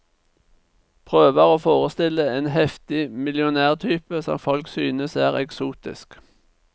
Prøver å forestille en heftig millionærtype som folk synes er eksotisk.